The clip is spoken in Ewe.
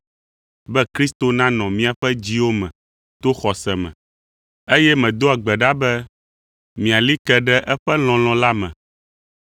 be Kristo nanɔ miaƒe dziwo me to xɔse me. Eye medoa gbe ɖa be miali ke ɖe eƒe lɔlɔ̃ la me,